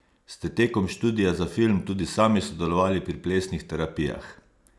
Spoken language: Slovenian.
Ste tekom študija za film tudi sami sodelovali pri plesnih terapijah?